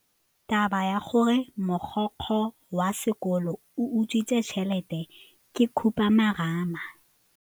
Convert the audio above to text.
Taba ya gore mogokgo wa sekolo o utswitse tšhelete ke khupamarama.